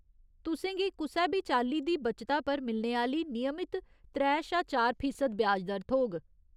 तुसें गी कुसै बी चाल्ली दी बच्चता पर मिलने आह्‌ली नियमत त्रै शा चार फीसद ब्याज दर थ्होग।